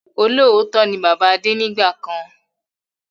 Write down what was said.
Olóòótọ́ ni bàbá Adé nígbàkan